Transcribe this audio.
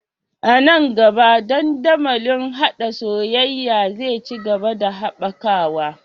A nan gaba, dandamalin haɗa soyayya zai ci gaba da haɓakawa